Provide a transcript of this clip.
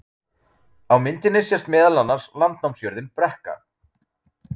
Á myndinni sést meðal annars landnámsjörðin Brekka.